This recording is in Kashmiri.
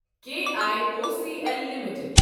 K I O C L limited